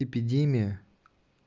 эпидемия